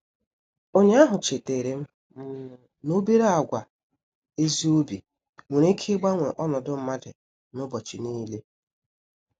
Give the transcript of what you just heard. Ụnyaahụ chetaram um n'obere àgwà ezi obi nwere ike ịgbanwe ọnọdụ mmadụ n'ụbọchị niile.